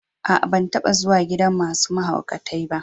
Aa, ban taba zuwa gidan masun mahaukatai ba.